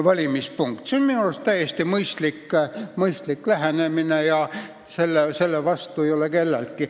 See on minu arust täiesti mõistlik lähenemine ja selle vastu ei ole midagi.